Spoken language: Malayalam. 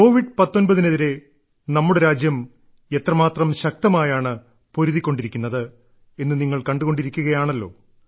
കോവിഡ്19 നെതിരെ നമ്മുടെ രാജ്യം എത്രമാത്രം ശക്തമായാണ് പൊരുതി ക്കൊണ്ടിരിക്കുന്നത് എന്ന് നിങ്ങൾ കണ്ടുകൊണ്ടിരിക്കുകയാണല്ലോ